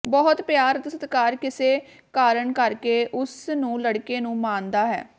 ਬਹੁਤ ਪਿਆਰ ਅਤੇ ਸਤਿਕਾਰ ਕਿਸੇ ਕਾਰਨ ਕਰਕੇ ਉਸ ਨੂੰ ਲੜਕੇ ਨੂੰ ਮਾਣਦਾ ਹੈ